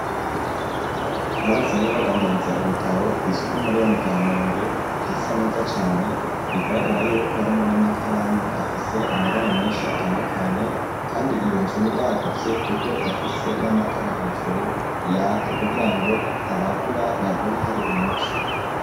Aho basanzwe badandariza ibitabo kw'isoku nkuru yo mu kamenge hasa neza cane bigaragara yuko harimwo n'amakaramu afise amabara meshi atandukanye kandi iyonzu ni iragutse kuko irafise n'amatara hejuru yaka kugirango abagura bagure hari umuco.